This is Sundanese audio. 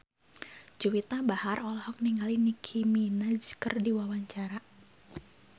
Juwita Bahar olohok ningali Nicky Minaj keur diwawancara